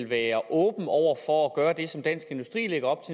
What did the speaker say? være åben over for at gøre det som dansk industri lægger op